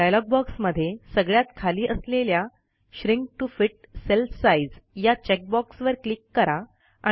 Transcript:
dialogue बॉक्समध्ये सगळ्यात खाली असलेल्या shrink to fit cell size या चेक बॉक्सवर क्लिक करा